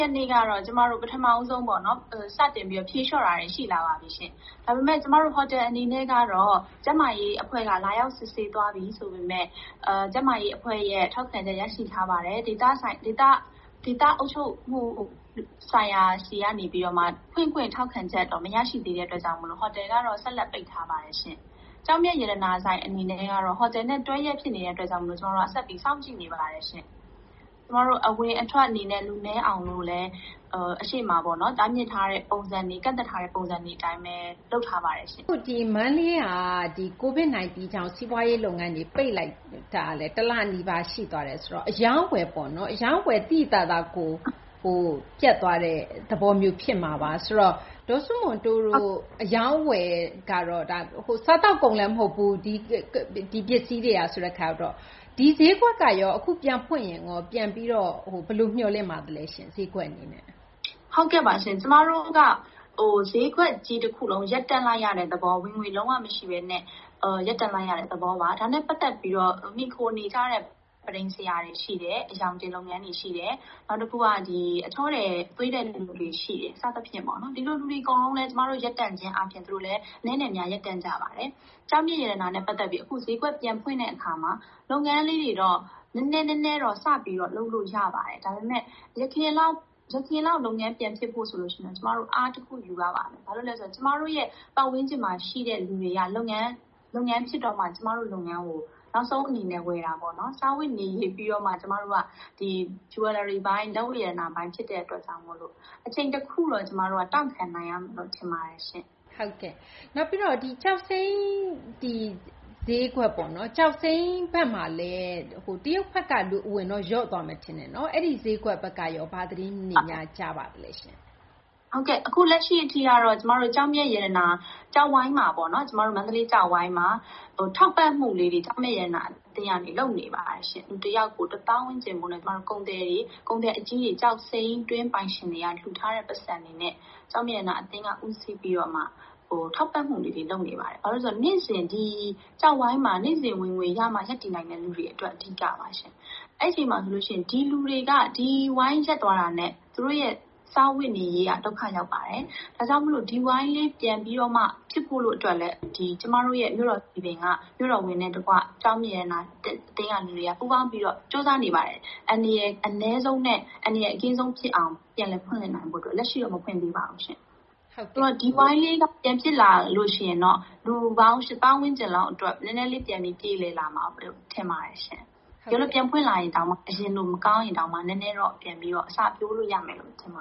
ရက်နေ့ကတော့ ပထမဆုံး စတင်ပြီး ဖြေလျှော့တာတွေ ရှိလာပါပြီ။ ဒါပေမယ့် ဟိုတယ်အနေနဲ့ကတော့ ကျန်းမာရေးအဖွဲ့က လာရောက်စစ်ဆေးသွားပြီ ဆိုပေမယ့် ကျန်းမာရေးအဖွဲ့ရဲ့ ထောက်ခံချက် ရရှိထားပါတယ်။ ဒေသအုပ်ချပ်မှုဆိုင်ရာဆီကတော့ ဖွင့်ခွင့်ထောက်ခံချက် မရရှိသေးတဲ့အတွက် ဟိုတယ်ကတော့ ဆက်လက်ပိတ်ထားပါတယ်ရှင့်။ ကျောက်မျက်ရတနာဆိုင် အနေနဲ့ကတော့ ဟိုတယ်နဲ့ တွဲလျက်ဖြစ်နေတဲ့အတွက်ကြောင့် ကျမတို့ ဆက်ပြီး စောင့်ကြည့်နေပါတယ်။ အဝင်အထွက်အနေနဲ့ လူနည်းအောင်လို့လည်း အရှေ့မှာ တားမြစ်ထားတဲ့ပုံစံတွေ၊ ကန့်သတ်ထားတဲ့ ပုံစံတွေအတိုင်းပဲ လုပ်ထားပါတယ်။” မသိင်္ဂီထိုက် - အခု မန္တလေးက COVID-19 ကြောင့် စီးပွားရေးလုပ်ငန်းတွေ ပိတ်လိုက်တာ တလနီးပါး ရှိသွားတယ်ဆိုတော့ အရောင်းအဝယ် သိသိသာသာ ပြတ်သွားတဲ့သဘောမျိုး ဖြစ်မှာပါ။ ဒေါ်စုမွန်တိုးတို့ အရောင်းအဝယ်ကတော့ စားသောက်ကုန်လည်း မဟုတ်ဘူး ဒီပစ္စည်းတွေက၊ ဒီဈေးကွက်ကရော အခုပြန်ဖွင့်ရင် ဘယ်လို မျှော်လင့်ပါသလဲ ဈေးကွက်အနေနဲ့။ ဒေါ်စုမွန်တိုး - “ကျမတို့က ဈေးကွက်ကြီးတခုလုံး ရပ်တန့်လိုက်ရတဲ့သဘော ဝင်ငွေ လုံးဝမရှိဘဲနဲ့ ရပ်တန့်လိုက်ရတဲ့ သဘောပါ။ ဒါနဲ့ပတ်သက်ပြီးတော့ မှီခိုနေကြတဲ့ ပန်းထိမ်ဆရာတွေရှိတယ်၊ အရောင်တင်လုပ်ငန်းတွေ ရှိတယ်၊ နောက် အချောထည် သွေးတဲ့လူတွေရှိတယ်၊ စသဖြင့် ဒီလိုလူတွေ အကုန်လုံးလည်း ကျမတို့ ရပ်တန့်ခြင်းအားဖြင့် သူတို့လည်း အနည်းနဲ့အများ ရပ်တန့်ကြပါတယ်။ ကျောက်မျက်ရတနာနဲ့ ပတ်သက်ပြီး အခု ဈေးကွက်ပြန်ဖွင့်တဲ့အခါမှာ လုပ်ငန်းလေးတွေတော့ နည်းနည်း နည်းနည်း စပြီးတော့ လုပ်လို့ရပါတယ်။ ဒါပေမယ့် အရင်လောက် လုပ်ငန်းပြန်ဖြစ်ဖို့ဆို ကျမတို့ အားတခုယူရပါမယ်။ ဘာဖြစ်လို့လဲဆိုတော့ ကျမတို့ရဲ့ ပတ်ဝန်းကျင်မှာရှိတဲ့ လူတွေက လုပ်ငန်းဖြစ်တော့မှ ကျမတို့လုပ်ငန်းကို နောက်ဆုံးအနေနဲ့ ဝယ်တာပေါ့။ စားဝတ်နေရေးပြီးတော့မှ လက်ဝတ်ရတနာပိုင်း ဖြစ်တဲ့အတွက်ကြောင့်မို့ အချိန်တခုတော့ တောင့်ခံနိုင်ရမယ်လို့ ထင်ပါတယ်။” မသိင်္ဂီထိုက် - ကျောက်စိမ်းဈေးကွက်မှာလည်း တရုတ်ဘက်က လူအဝင်တော့ လျော့သွားမယ် ထင်ပါတယ်။ အဲဒီဈေးကွက်ဘက်ကရော ဘာသတင်းတွေများ ကြားပါသလဲ။ ဒေါ်စုမွန်တိုး - “အခုလက်ရှိအထိကတော့ မန္တလေးကျောက်ဝိုင်းမှာ ထောက်ပံ့မှုလေးတွေ ကျောက်မျက်ရတနာအသင်းက လုပ်နေပါတယ်။ လူတယောက်ကို တသောင်းဝန်းကျင်ဖိုးနဲ့ ကုန်သည်အကြီးတွေ၊ ကျောက်စိမ်းတွင်း ပိုင်ရှင်တွေက လှူထားတဲ့ ပိုက်ဆံတွေနဲ့ ကျောက်မျက်ရတနာအသင်းက ဦးစီးပြီးတော့မှ ထောက်ပံ့မှုလေးတွေ လုပ်နေပါတယ်။ ဘာဖြစ်လို့လဲဆိုတော့ ကျောက်ဝိုင်းမှာ နေ့စဉ်ဝင်ငွေရမှ ရပ်တည်နိုင်မယ့် လူတွေအတွက် အဓိကပါရှင့်။ ဒီလူတွေက ဒီဝိုင်းရပ်သွားတာနဲ့ သူတို့ရဲ့ စားဝတ်နေရေးက ဒုက္ခရောက်ပါတယ်။ “ဒါကြောင့် ဒီဝိုင်းလေး ပြန်ဖြစ်ဖို့အတွက်လည်း ကျမတို့ မြို့တော်စည်ပင်က မြို့တော်ဝန်နဲ့တကွ ကျောက်မျက်ရတနာအသင်းက လူတွေ ပူးပေါင်းပြီးတော့ ကြိုးစားနေပါတယ်။ အန္တရာယ် အနည်းဆုံးနဲ့ အန္တရာယ်အကင်းဆုံးဖြစ်အောင် ပြန်လည်ဖွင့်လှစ်နိုင်ဖို့အတွက်၊ လက်ရှိတော့ မဖွင့်သေးပါဘူး။ ဒီဝိုင်းလေး ပြန်ဖြစ်လာရင်တော့ လူပေါင်း ၈ သောင်းဝန်းကျင်လောက် နည်းနည်းလေး ပြန်ပြေလည်လာမယ်လို့ ထင်ပါတယ်။ တကယ်လို့ ပြန်ဖွင့်ရင် အရင်လို မကောင်းရင်တောင်မှ နည်းနည်းတော့ ပြန်ပြီး အစပျိုးလို့ရမယ်လို့ ထင်ပ